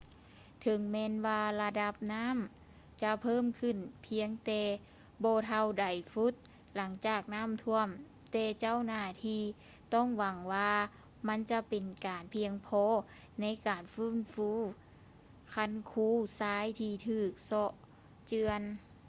ເຖິງແມ່ນວ່າລະດັບນໍ້າຈະເພີ່ມຂຶ້ນພຽງແຕ່ບໍ່ເທົ່າໃດຟຸດຫຼັງຈາກນໍ້າຖ້ວມ ແຕ່ເຈົ້າໜ້າທີ່ຫວັງວ່າມັນຈະເປັນການພຽງພໍໃນການຟື້ນຟູຄັນຄູຊາຍທີ່ຖືກເຊາະເຈື່ອນ